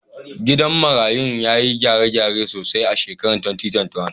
Gidan marayun ya yi gyare-gyare sosai a shekarar 2021.